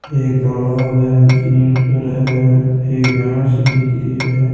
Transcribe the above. एक तालाब है तीन छोरा है एक नांव सी दिख री हैं।